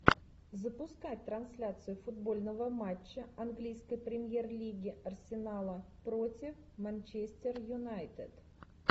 запускай трансляцию футбольного матча английской премьер лиги арсенала против манчестер юнайтед